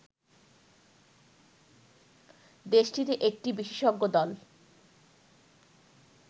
দেশটিতে একটি বিশেষজ্ঞ দল